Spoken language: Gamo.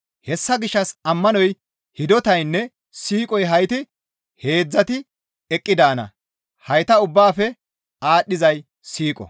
Hessa gishshas ammanoy, hidotaynne siiqoy hayti heedzdzati eqqi daana; hayta ubbaafe aadhdhizay siiqo.